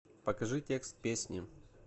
покажи текст песни